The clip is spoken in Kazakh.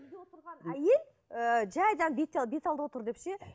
әйел ыыы жай беталды отыр деп ше